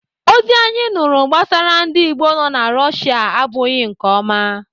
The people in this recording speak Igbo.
Ozi anyị nụrụ gbasara ndị Igbo nọ na Russia abụghị nke ọma.